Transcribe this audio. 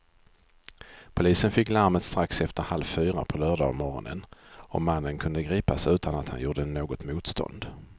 Polisen fick larmet strax efter halv fyra på lördagsmorgonen och mannen kunde gripas utan att han gjorde något motstånd.